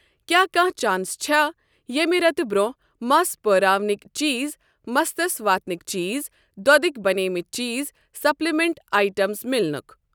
کیٛاہ کانٛہہ چانس چھےٚ ییٚمہِ رٮ۪تہٕ برٛونٛہہ مَس پٲراونٕکؠ چیٖز مستَس واتنٕکؠ چیٖز دۄدٕکؠ بَنیمٕتؠ چیٖزسپلِمیٚنٹ آیٹَمز میلنُک۔؟